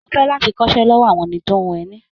Mo fẹ́ láti kọ́ṣẹ́ lọ́wọ́ àwọn tó ń hun ẹni.